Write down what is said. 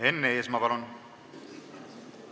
Enn Eesmaa, palun!